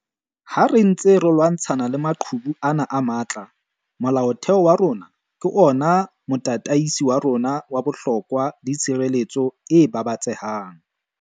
Ha re ntse re lwantshana le maqhubu ana a matla, Molaotheo wa rona ke ona motataisi wa rona wa bohlokwa le tshireletso e babatsehang.